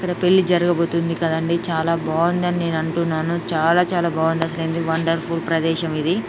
ఇక్కడ పెళ్లి జరగబోతుంది కదండీ చాలా బాగుందని నేను అంటున్నాను చాలా చాలా బాగుంది అసలు ఎంది వండర్ఫుల్ ప్రదేశం ఇది